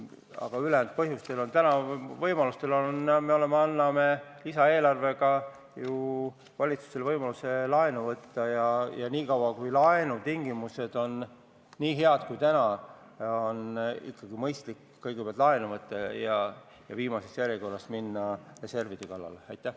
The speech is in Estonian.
Aga ülejäänud põhjustel anname me täna ju lisaeelarvega valitsusele võimaluse laenu võtta ja senikaua, kui laenu tingimused on nii head nagu täna, on mõistlik ikkagi kõigepealt laenu võtta ja viimases järjekorras reservide kallale minna.